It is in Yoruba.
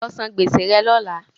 Lọ san gbèsè rẹ lọ́lá!